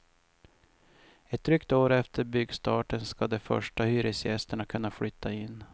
Ett drygt år efter byggstarten ska de första hyresgästerna kunna flytta in.